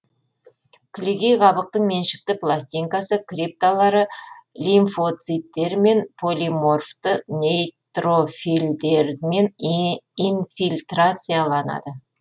кілегей қабықтың меншікті пластинкасы крипталары лимфоциттермен полиморфты нейтрофильдермен инфильтрацияланады